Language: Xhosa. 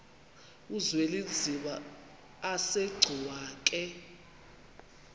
uzwelinzima asegcuwa ke